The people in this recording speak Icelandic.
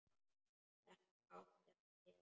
Þetta átti hann til.